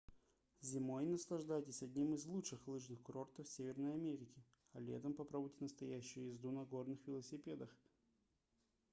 зимой наслаждайтесь одним из лучших лыжных курортов северной америки а летом попробуйте настоящую езду на горных велосипедах